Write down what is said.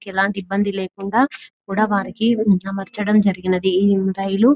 ఎలాంటి ఇబ్బంది లేకుండా వానికి అమర్చడం జరిగింది ఈ రైలు.